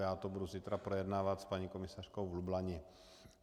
Já to budu zítra projednávat s paní komisařkou v Lublani.